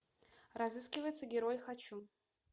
разыскивается герой хочу